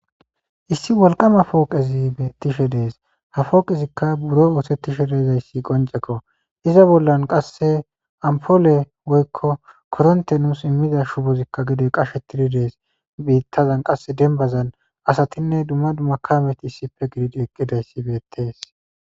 Issi wolqama pooqezi tishe dees ha fooqezikka buro oosetishe deezayssi qoncekko iza bollan qasse ampoole woykko koronte nuus immiza shubozikka gidoy qashe tiri dees biittazan qasse dembazan asatinne dumma dumakameti issife gidid eqqidayssi beettes.